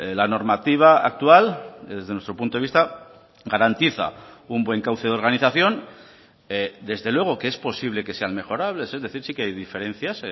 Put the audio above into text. la normativa actual desde nuestro punto de vista garantiza un buen cauce de organización desde luego que es posible que sean mejorables es decir sí que hay diferencias